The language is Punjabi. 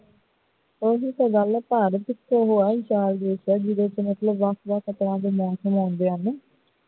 ਉਹੀ ਤੇ ਗੱਲ ਹੈ ਜਿੱਥੇ ਤੇ ਮਤਲਬ ਵੱਖ ਵੱਖ ਤਰਾਂ ਦੇ ਮੌਸਮ ਹੁੰਦੇ ਹਨ